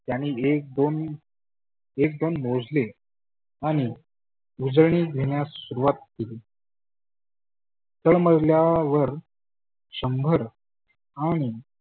त्यानी एक दोन एक दोन मोजले आणि उजळनी घेण्यास सुरुवात केली. तळमजल्यावर शंभर आणि